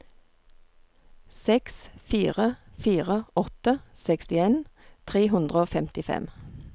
seks fire fire åtte sekstien tre hundre og femtifem